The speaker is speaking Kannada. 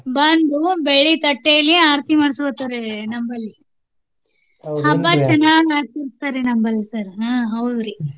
ಬಂದು ಬೆಳ್ಳಿ ತಟ್ಟೇಲಿ ಆರತಿ ಮಾಡ್ಸ್ಕೊತಾರೆ ನಮ್ಮಲ್ಲಿ. ಹಬ್ಬ ಚೆನ್ನಾಗಿ ಆಚರಿಸ್ತಾರೆ ನಮ್ಮಲ್ಲಿ sir ಹಾ ಹೌದ್ರಿ.